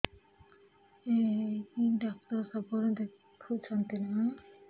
ଏଇ ଡ଼ାକ୍ତର ସବୁଦିନେ ଦେଖୁଛନ୍ତି ନା